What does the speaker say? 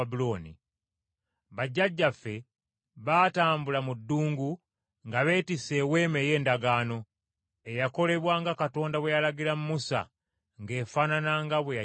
“Bajjajjaffe baatambula mu ddungu nga beetisse Eweema ey’Endagaano, eyakolebwa nga Katonda bwe yalagirira Musa ng’efaanana nga bwe yagimulaga.